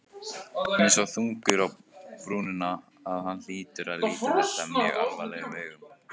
Hann er svo þungur á brúnina að hann hlýtur að líta þetta mjög alvarlegum augum.